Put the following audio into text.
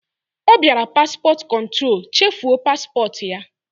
Ọ biara paspọt kụntrol, chefuo paspọt ya!